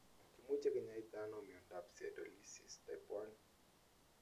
Kimuche kinyaita ano miondap Sialidosis type I?